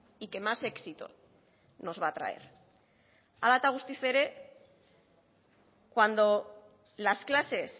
y que más éxito nos va a atraer hala eta guztiz ere cuando las clases